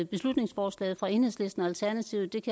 beslutningsforslaget fra enhedslisten og alternativet